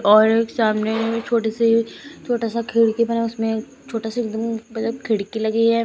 और एक सामने में छोटे सी छोटा सा खिड़की बना उसमें छोटा सा खिड़की लगी है।